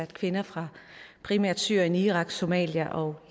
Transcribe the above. kvinder fra primært syrien irak somalia og